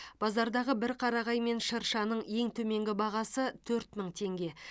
базардағы бір қарағай мен шыршаның ең төменгі бағасы төрт мың теңге